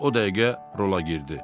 O dəqiqə rola girdi.